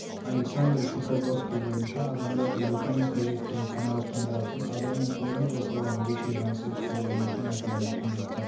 александр шухободский бойынша адамдардың рухани қажеттігін қанағаттандыратын адамның қолымен жасалған ерекше жансыз қозғалмайтын материалды құндылықтар